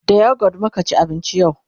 da youghurt muka ci abinci yau